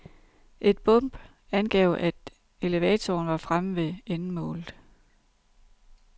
Et bump angav at elevatoren var fremme ved endemålet.